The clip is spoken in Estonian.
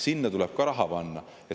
Sinna tuleb ka raha panna.